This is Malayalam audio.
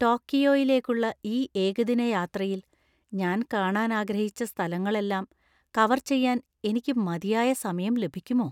ടോക്കിയോയിലേക്കുള്ള ഈ ഏകദിന യാത്രയിൽ ഞാൻ കാണാൻ ആഗ്രഹിച്ച സ്ഥലങ്ങളെല്ലാം കവർ ചെയ്യാൻ എനിക്ക് മതിയായ സമയം ലഭിക്കുമോ?